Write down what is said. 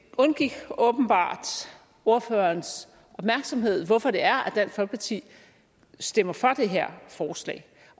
undgik åbenbart ordførerens opmærksomhed hvorfor det er at dansk folkeparti stemmer for det her forslag